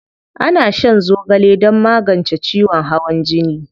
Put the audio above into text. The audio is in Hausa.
Ana shan zogale don magance ciwon hawan jini.